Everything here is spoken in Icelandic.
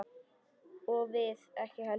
Og við ekki heldur.